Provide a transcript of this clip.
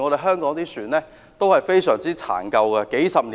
香港的船都是非常殘舊，經歷了數十年。